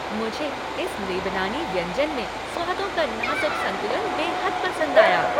मुझे इस लेबनानी व्यंजन में स्वादों का नाजुक संतुलन बेहद पसंद आया।